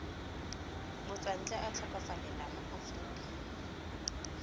motswantle a tlhokofalela mo aforika